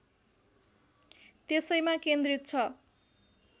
त्यसैमा केन्द्रित छ